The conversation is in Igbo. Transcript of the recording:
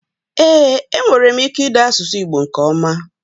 Ee enwerem ike ide asusu igbo nke oma.